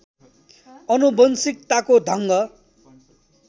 आनुवंशिकताको ढङ्ग